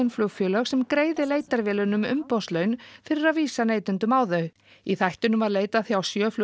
flugfélög sem greiði leitarvélunum umboðslaun fyrir að vísa neytendum á þau í þættinum var leitað hjá sjö